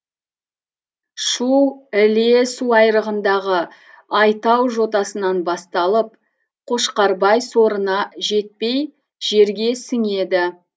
шу іле суайрығындағы айтау жотасынан басталып қошқарбай сорына жетпей жерге сіңеді